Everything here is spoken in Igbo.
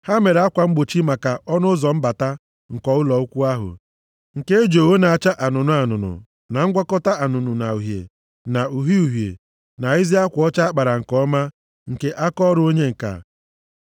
Ha mere akwa mgbochi maka ọnụ ụzọ mbata nke ụlọ ikwu ahụ, nke e ji ogho na-acha anụnụ anụnụ, na ngwakọta anụnụ na uhie, na uhie uhie, na ezi akwa ọcha a kpara nke ọma, nke bụ akaọrụ onye ǹka.